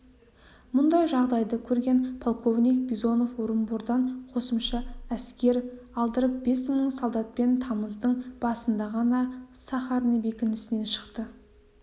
мұндай жағдайды көрген полковник бизанов орынбордан қосымша әскер алдырып бес мың солдатпен тамыздың басында ғана сахарный бекінісінен шықты